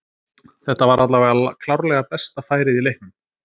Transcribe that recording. Þetta var allavega klárlega besta færið í leiknum.